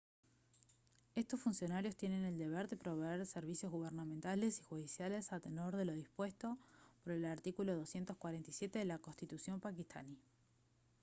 estos funcionarios tienen el deber de proveer servicios gubernamentales y judiciales a tenor de lo dispuesto por el artículo 247 de la constitución paquistaní